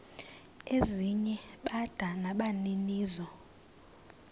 ezinye bada nabaninizo